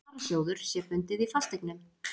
varasjóður, sé bundið í fasteignum.